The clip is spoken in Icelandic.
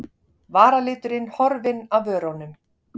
Varaliturinn horfinn af vörunum.